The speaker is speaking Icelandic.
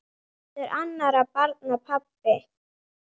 Ekki heldur annarra barna pabbi.